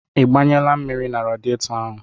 Ị gbanyela mmiri na radietọ ahụ?